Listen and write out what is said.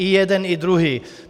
I jeden, i druhý.